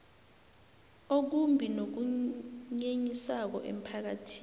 okumbi nokunyenyisako emphakathini